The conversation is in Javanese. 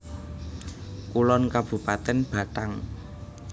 Kulon Kabupatèn Batang